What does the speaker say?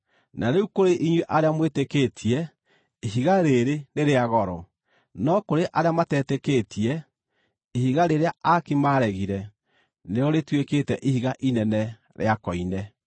Na rĩu kũrĩ inyuĩ arĩa mwĩtĩkĩtie, ihiga rĩĩrĩ nĩ rĩa goro. No kũrĩ arĩa matetĩkĩtie, “Ihiga rĩrĩa aaki maaregire nĩrĩo rĩtuĩkĩte ihiga inene rĩa koine,”